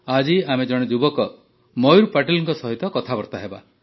ଆଜି ଆମେ ଜଣେ ଯୁବକ ମୟୂର ପାଟିଲଙ୍କ ସହ କଥାବାର୍ତା ହେବା